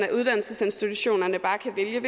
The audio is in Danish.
at uddannelsesinstitutionerne bare kan vælge